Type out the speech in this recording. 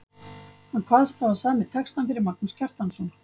Hann kvaðst hafa samið textann fyrir Magnús Kjartansson.